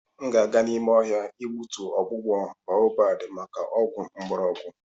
M ga-aga n'ime ohia igbutu ogbugbo baobab maka ogwu ngborogu.